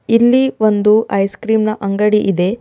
ಇಲ್ಲಿ ಒಂದು ಐಸಕ್ರೀಮ್ ನ ಅಂಗಡಿ ಇದೆ.